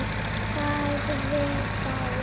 Sagði þá